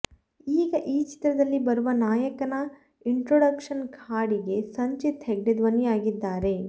ಈಗ ಈ ಚಿತ್ರದಲ್ಲಿ ಬರುವ ನಾಯಕನ ಇಂಟ್ರೊಡಕ್ಷನ್ ಹಾಡಿಗೆ ಸಂಚಿತ್ ಹೆಗ್ಡೆ ಧ್ವನಿಯಾಗಿದ್ದಾರೆ